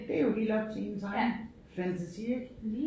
Det jo helt op til ens egen fantasi ik